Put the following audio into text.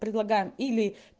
предлагаем или